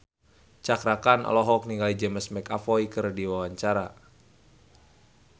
Cakra Khan olohok ningali James McAvoy keur diwawancara